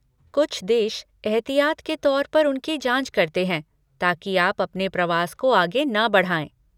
कुछ देश एहतियात के तौर पर उनकी जाँच करते हैं ताकि आप अपने प्रवास को आगे न बढ़ाएँ।